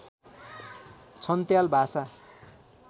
छन्त्याल भाषा